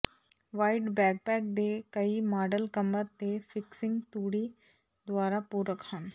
wide backpack ਦੇ ਕਈ model ਕਮਰ ਤੇ ਫਿਕਸਿੰਗ ਤੂੜੀ ਦੁਆਰਾ ਪੂਰਕ ਹਨ